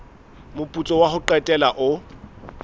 moputso wa ho qetela o